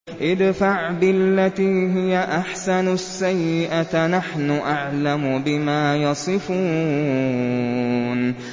ادْفَعْ بِالَّتِي هِيَ أَحْسَنُ السَّيِّئَةَ ۚ نَحْنُ أَعْلَمُ بِمَا يَصِفُونَ